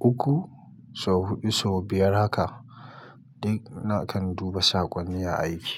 uku, sau huɗu, sau biyar haka. Duk na kan duba saƙonni a aiki.